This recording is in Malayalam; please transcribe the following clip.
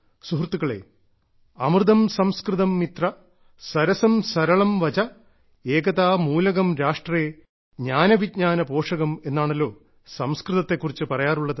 സുഹൃത്തുക്കളെ അമൃതം സംസ്കൃതം മിത്ര സരസം സരളം വചഃ ഏകതാ മൂലകം രാഷ്ട്രേ ജ്ഞാന വിജ്ഞാന പോഷകം എന്നാണല്ലോ സംസ്കൃതത്തെ കുറിച്ച് പറയാറുള്ളത്